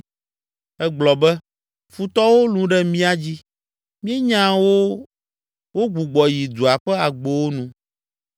Egblɔ be, “Futɔwo lũ ɖe mía dzi; míenya wo wogbugbɔ yi dua ƒe agbowo nu.